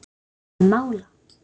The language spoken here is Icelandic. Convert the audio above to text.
Að mála.